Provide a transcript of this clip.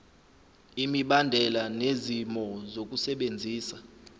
imibandela nezimo zokusebenzisa